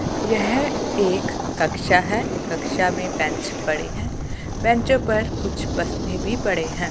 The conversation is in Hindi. यह एक कक्षा है कक्षा में बेंच पड़ी है बैंचो पर कुछ बस्ते भी पड़े हैं।